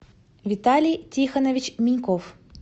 виталий тихонович миньков